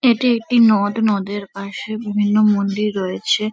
এটি একটি নদ নদ-এর পাশে বিভিন্ন মন্দির রয়েছে ।